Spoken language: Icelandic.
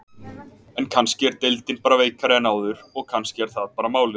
En kannski er deildin bara veikari en áður og kannski er það bara málið?